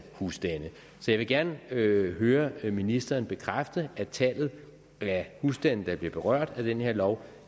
husstande jeg vil gerne høre høre ministeren bekræfte at antallet af husstande der er blevet berørt af den her lov